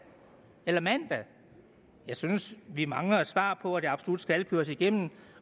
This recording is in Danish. eller mandag jeg synes vi mangler et svar på hvorfor det absolut skal køres igennem